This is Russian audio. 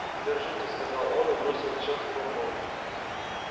держите сказал он и бросил чётки на пол